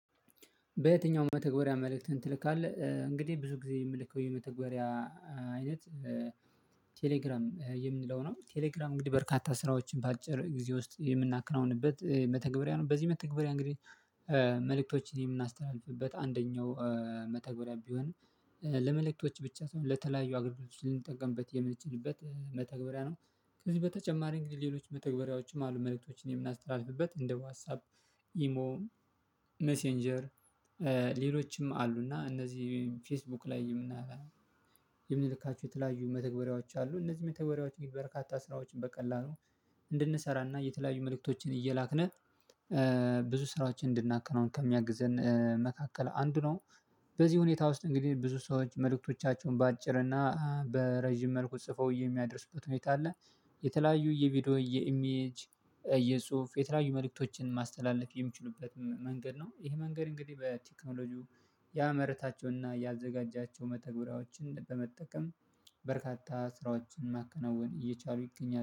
በየትኛውም መተግበሪያ መልእክትን ትልካለህ እንግዲህ ብዙ ጊዜ የምልከው የመተግበሪያ አይነት ቴሌግራም የምንለው ነው። ቴሌግራም እንግዲህ በርካታ ስራዎችን በአጭር ጊዜ ውስጥ የምናከናውንበት መተግበሪያ ነው። በዚህ መተግበሪያ እንግዲህ መልእክቶችን የምናስተላልፍበት አንደኛው መተግበሪያ ቢሆን ለመልእክቶች ብቻ ሳይሆን ለተለያዩ አግድሎች ልንጠቀምበት የምንችልበት መተግበሪያ ነው። ከዚህ በተጨማሪ እንግዲህ ሌሎች መተግበሪያዎችም አሉ። መልእክቶችን የምናስተላልፍበት እንደ ዋትሳፕ ኢሞ ሜሴንጀር አሉ። እና እነዚህ ፌስቡክ ላይም እና የምንልካችሁ የተለያዩ መተግበሪያዎች አሉ። እነዚህ መተግበሪያዎች በርካታ ስራዎችን በቀላሉ እንድንሰራና የተለያዩ መልእክቶችን እየላክነህ ብዙ ስራዎችን እንድናከናውን ከሚያግዘን መካከል አንዱ ነው። በዚህ ሁኔታ ውስጥ እንግዲህ ብዙ ሰዎች መልእክቶቻቸውን በአጭር እና በረጅም መልኩ ጽፈው የሚያደርሱበት ሁኔታ አለ። የተለያዩ የቪዲዮ የኢሜጅ የጽሁፍ የተለያዩ መልእክቶችን ማስተላለፍ የሚችሉበት መንገድ ነው። ይሄ መንገድ እንግዲህ በቴክኖሎጂው ያመረታቸውና ያዘጋጃቸው መተግበሪያዎችን በመጠቀም በርካታ ስራዎችን ማከናወን እየቻሉ ይገኛል